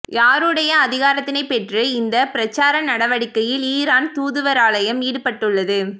யாருடைய அதிகாரத்தினை பெற்று இந்த பிரசார நடவடிக்கையில் ஈரான் தூதுவராலயம் ஈடுபட்டுள்ளது